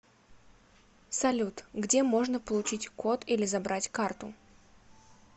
салют где можно получить код или забрать карту